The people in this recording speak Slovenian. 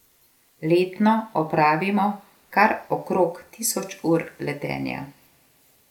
Letno opravimo kar okrog tisoč ur letenja.